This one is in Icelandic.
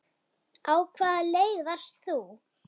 Á hvaða leið varst þú?